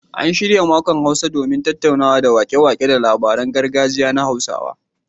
An shirya makon Hausa domin tunawa da waƙe-waƙe da labaran gargajiya na Hausawa